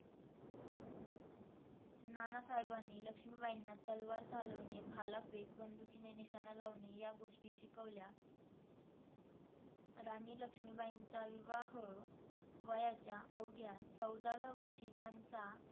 नानासाहेबांनी लक्ष्मीबाईंना तलवार चालवणे, भालफेक, बंदुकीने निशाणा लावणे या गोष्टी शिकवल्या. राणी लक्ष्मीबाईंचा विवाह वयाच्या अवघ्या चौदाव्या वर्षी त्यांचा